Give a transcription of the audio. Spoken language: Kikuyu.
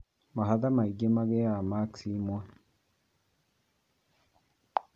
Mahatha mangĩ magĩaga makithi imwe